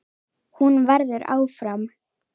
Hún verður áfram.